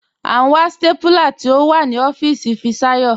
À n wà stápúlà tí o wà ní ọfiisi Fisayo.